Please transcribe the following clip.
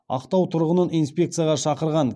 ақтау тұрғынын инспекцияға шақырған